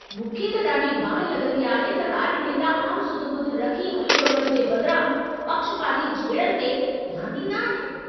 मूंखे त ॾाढी बाहि लॻंदी आहे त राॼनेता आमु सुध ॿुध रखी हलु ॻोल्हण जे बदिरां, पक्षपाती झेड़नि ते ध्यान ॾींदा आहिनि।